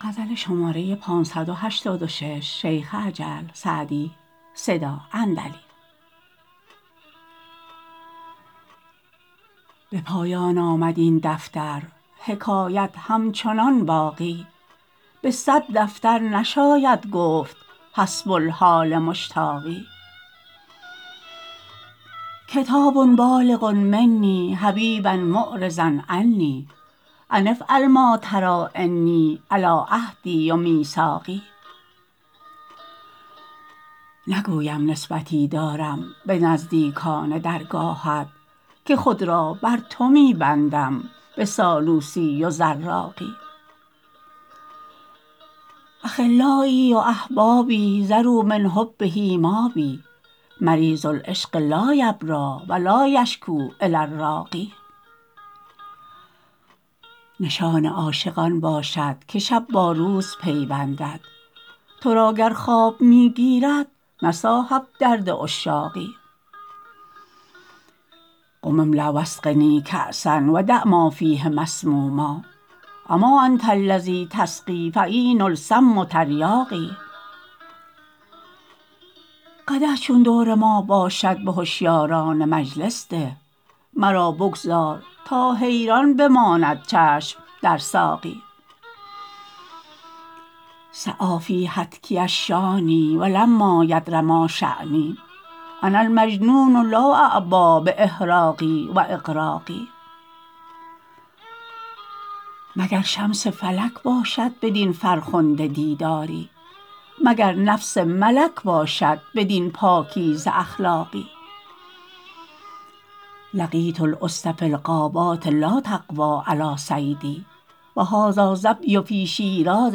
به پایان آمد این دفتر حکایت همچنان باقی به صد دفتر نشاید گفت حسب الحال مشتاقی کتاب بالغ منی حبیبا معرضا عنی أن افعل ما تری إني علی عهدی و میثاقی نگویم نسبتی دارم به نزدیکان درگاهت که خود را بر تو می بندم به سالوسی و زراقی أخلایی و أحبابی ذروا من حبه مابی مریض العشق لا یبری و لا یشکو إلی الراقی نشان عاشق آن باشد که شب با روز پیوندد تو را گر خواب می گیرد نه صاحب درد عشاقی قم املأ و اسقنی کأسا و دع ما فیه مسموما أما أنت الذی تسقی فعین السم تریاقی قدح چون دور ما باشد به هشیاران مجلس ده مرا بگذار تا حیران بماند چشم در ساقی سعی فی هتکی الشانی و لما یدر ما شانی أنا المجنون لا أعبا بإحراق و إغراق مگر شمس فلک باشد بدین فرخنده دیداری مگر نفس ملک باشد بدین پاکیزه اخلاقی لقیت الأسد فی الغابات لا تقوی علی صیدی و هذا الظبی فی شیراز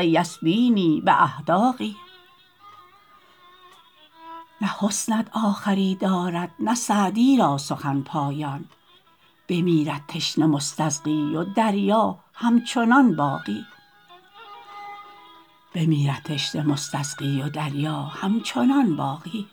یسبینی بأحداق نه حسنت آخری دارد نه سعدی را سخن پایان بمیرد تشنه مستسقی و دریا همچنان باقی